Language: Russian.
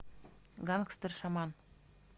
гангстер шаман